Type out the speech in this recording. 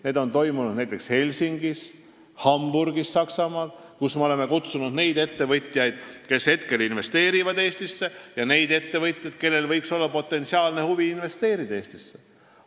Need on toimunud näiteks Helsingis ja Saksamaal Hamburgis ning me oleme sinna kutsunud neid ettevõtjaid, kes juba investeerivad Eestisse, ja neid ettevõtjaid, kellel võiks olla potentsiaalne huvi Eestisse investeerida.